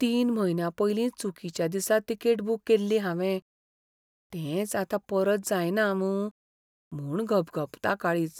तीन म्हयन्यां पयलीं चुकिच्या दिसा तिकेट बूक केल्ली हावें, तेंच आतां परत जायना मूं म्हूण घपघपता काळीज!